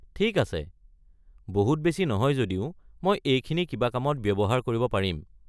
ঠিক আছে, বহুত বেছি নহয় যদিও মই এইখিনি কিবা কামত ব্যৱহাৰ কৰিব পাৰিম।